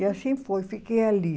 E assim foi, fiquei ali.